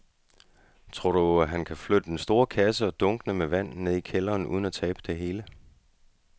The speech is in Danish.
Tror du, at han kan flytte den store kasse og dunkene med vand ned i kælderen uden at tabe det hele?